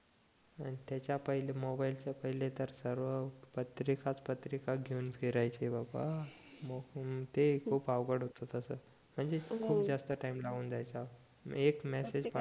अन त्याच्या पहिले मोबाइलला च्या पहिले तर सर्व पत्रिकाच पत्रिकाच घिऊन फिरायचे बाबा ते खूप अवघड होत तसं म्हणजे खूप जास्त टाईम लागून जायचा एक मॅसेज